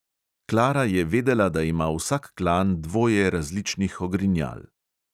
Klara je vedela, da ima vsak klan dvoje različnih ogrinjal.